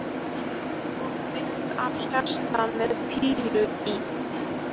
Og mynd af hjarta með pílu í.